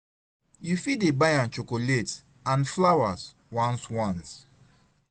yu fit dey buy am chokolet nd flawas ones ones